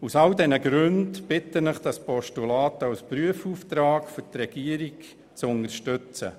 Aus all diesen Gründen bitte ich Sie, dieses Postulat als Prüfauftrag an die Regierung zu unterstützen.